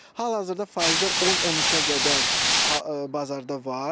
Hal-hazırda faizlər 10-13-ə qədər bazarda var.